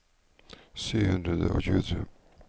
sju hundre og tjuetre